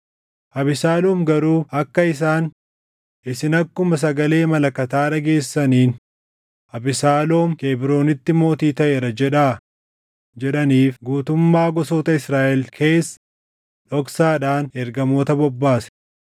Abesaaloom garuu akka isaan, “Isin akkuma sagalee malakataa dhageessaniin, ‘Abesaaloom Kebroonitti mootii taʼeera’ jedhaa” jedhaniif guutummaa gosoota Israaʼel keessa dhoksaadhaan ergamoota bobbaase.